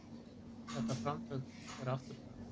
Þetta framtak er afturför.